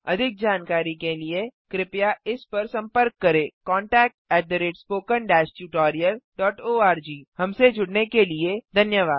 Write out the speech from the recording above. अधिक जानकारी के लिए कृपया इस पर संपर्क करें contactspoken tutorialorg हमसे जुड़ने के लिए धन्यवाद